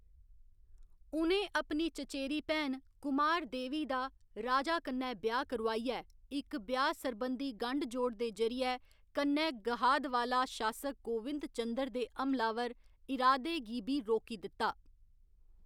उ'नें अपनी चचेरी भैन कुमारदेवी दा राजा कन्नै ब्याह्‌‌ करोआइयै इक ब्याह्‌‌ सरबंधी गंढ जोड़ दे जरियै कन्नै गहादवाला शासक गोविंदचंद्र दे हमलावर इरादे गी बी रोकी दित्ता।